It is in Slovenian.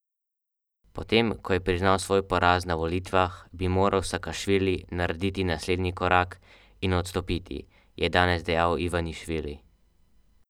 Potem ko je priznal svoj poraz na volitvah, bi moral Sakašvili narediti naslednji korak in odstopiti, je danes dejal Ivanišvili.